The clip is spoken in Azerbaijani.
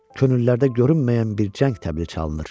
Könüllərdə görünməyən bir cəng təbili çalınır.